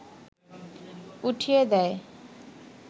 উঠিয়ে দেয়